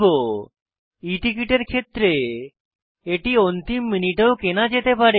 e ticket এর ক্ষেত্রে এটি অন্তিম মিনিটেও কেনা যেতে পারে